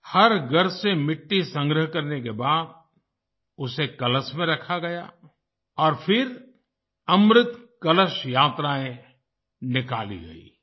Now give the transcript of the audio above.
हर घर से मिट्टी संग्रह करने के बाद उसे कलश में रखा गया और फिर अमृत कलश यात्राएं निकाली गईं